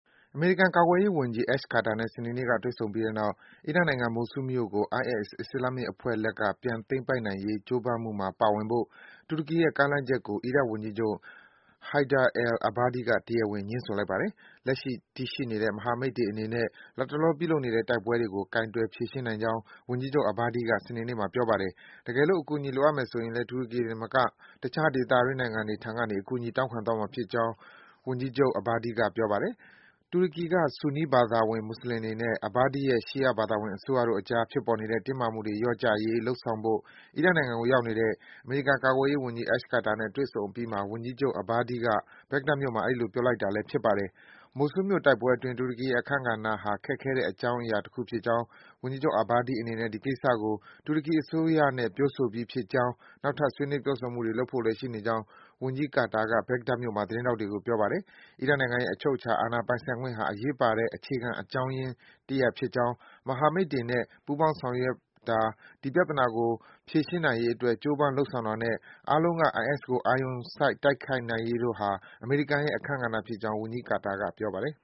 အမေရိကန်ကာကွယ်ရေးဝန်ကြီး Ash Carter နဲ့ စနေနေ့က တွေ့ဆုံပြီးတဲ့နောက် အီရတ်နိုင်ငံ Mosul မြို့ကို IS အစ္စလာမ်မစ်အဖွဲ့လက်က ပြန်သိမ်းပိုက်နိုင်ရေး ကြိုးပမ်းမှုမှာပါဝင်ဖို့ တူရကီရဲ့ ကမ်းလှမ်းချက်ကို အီရတ်ဝန်ကြီးချုပ် Haider al-Abadi က တရားဝင် ငြင်းဆိုလိုက်ပါတယ်။ လက်ရှိ တည်ရှိနေတဲ့ မဟာမိတ်တွေအနေနဲ့ လတ်တလော ပြုလုပ်နေတဲ့ တိုက်ပွဲတွေကို ကိုင်တွယ် ဖြေရှင်းနိုင်ကြောင်း ဝန်ကြီးချုပ် Abadi က စနေနေ့မှာ ပြောပါတယ်။ တကယ်လို့ အကူအညီလိုအပ်မယ်ဆိုရင်လည်း တူရကီတင်မက တခြား ဒေသတွင်း နိုင်ငံတွေထံက အကူအညီ တောင်းခံသွားမှာ ဖြစ်ကြောင်း ဝန်ကြီးချုပ် Abadi က ပြောပါတယ်။ တူရကီက ဆူနီး ဘာသာဝင် မွတ်ဆလင်တွေနဲ့ Abadi ရဲ့ ရှီယား ဘာသာဝင် အစိုးရတို့အကြား ဖြစ်ပေါ်နေတဲ့ တင်းမာမှုတွေ လျော့ကျရေး လုပ်ဆောင်ဖို့ အီရတ်နိုင်ငံကို ရောက်နေတဲ့ အမေရိကန်ကာကွယ်ရေးဝန်ကြီး Ash Carter နဲ့ တွေ့ဆုံအပြီးမှာ ဝန်ကြီးချုပ် Abadi က ဘက်ဂဒတ်မြို့မှာ အဲဒီလို ပြောကြားလိုက်တာပါ။ Mosul မြို့တိုက်ပွဲအတွက် တူရကီရဲ့ အခန်းကဏ္ဍဟာ ခက်ခဲတဲ့ အကြောင်းအရာတခုဖြစ်ကြောင်း၊ ဝန်ကြီးချုပ် Abadi အနေနဲ့ ဒီကိစ္စကို တူရကီအစိုးရနဲ့ ပြောဆိုပြီးဖြစ်ကြောင်းနဲ့ နောက်ထပ် ဆွေးနွေး ပြောဆိုမှုတွေ ပြုလုပ်ဖို့လည်း ရှိကြောင်း ဝန်ကြီး ကာတာက ဘက်ဂဒတ်မြို့မှာ သတင်းထောက်တွေကို ပြောပါတယ်။ အီရတ်နိုင်ငံရဲ့ အချုပ်အခြာ အာဏာပိုင်ဆိုင်ခွင့်ဟာ အရေးပါတဲ့ အခြေခံ အကြောင်းရပ်ဖြစ်ကြောင်း၊ မဟာမိတ်တွေနဲ့ ပူးပေါင်းဆောင်ရွက်တာ၊ ဒီပြဿနာကို ဖြေရှင်းနိုင်ရေးအတွက် ကြိုးပမ်း လုပ်ဆောင်တာနဲ့ အားလုံးက IS ကို အာရုံစိုက် တိုက်ခိုက်ရေးတို့ဟာ အမေရိကန်ရဲ့ အခန်းကဏ္ဍဖြစ်ကြောင်း ဝန်ကြီး ကာတာက ပြောပါတယ်